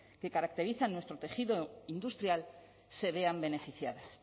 que caracterizan nuestro tejido industrial se vean beneficiadas